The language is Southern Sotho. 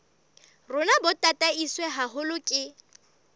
rona bo tataiswe haholo ke